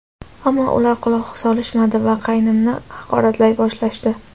Ammo ular quloq solishmadi va qaynimni haqoratlay boshlashdi.